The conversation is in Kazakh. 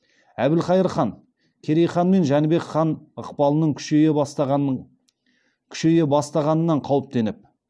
әбілхайыр хан керей хан мен жәнібек хан ықпалының күшейе бастағанынан қауіптеніп